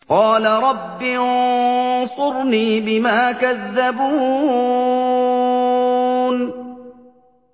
قَالَ رَبِّ انصُرْنِي بِمَا كَذَّبُونِ